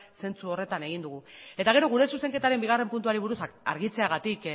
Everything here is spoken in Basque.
zentzu horretan egin dugu eta gero gure zuzenketaren bigarren puntuari buruz argitzeagatik